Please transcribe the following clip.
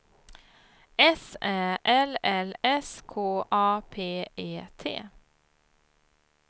S Ä L L S K A P E T